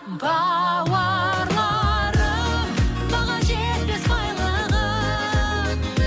бауырларым баға жетпес байлығым